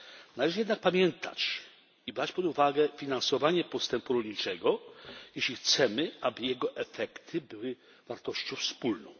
Należy jednak pamiętać i brać pod uwagę finansowanie postępu rolniczego, jeśli chcemy, aby jego efekty były wartością wspólną.